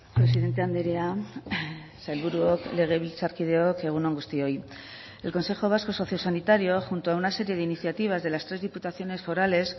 presidente andrea sailburuok legebiltzarkideok egun on guztioi el consejo vasco sociosanitario junto a una serie de iniciativas de las tres diputaciones forales